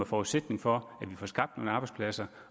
forudsætning for at vi får skabt nogle arbejdspladser